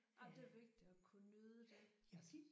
Jamen det er vigtigt at kunne nyde det altså